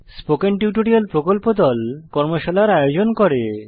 spoken tutorial প্রকল্প দল কর্মশালার আয়োজন করে